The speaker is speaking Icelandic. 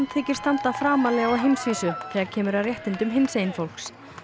þykir standa framarlega á heimsvísu þegar kemur að réttindum hinsegin fólks